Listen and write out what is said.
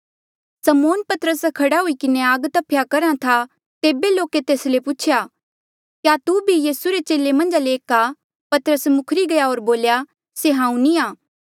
समौन पतरस खड़ा हुई किन्हें आग तफ्या करहा था तेबे लोके तेस ले पुछेया क्या तू भी यीसू रे चेले मन्झा ले एक आ पतरस मुखरी गया होर बोल्या से हांऊँ नी आं